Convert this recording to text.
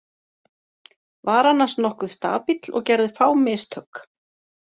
Var annars nokkuð stabíll og gerði fá mistök.